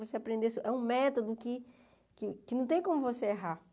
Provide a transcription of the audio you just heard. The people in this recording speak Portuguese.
Você aprendesse, é um método que que que não tem como você errar.